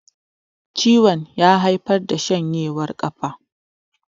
ciwon ya haifar shanjewar kafa